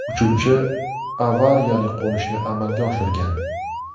Uchuvchi avariyali qo‘nishni amalga oshirgan.